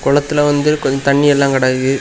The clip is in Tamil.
கொளத்துல வந்து கொஞ்சம் தண்ணி எல்லாம் கடக்கு.